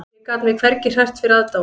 Ég gat mig hvergi hrært fyrir aðdáun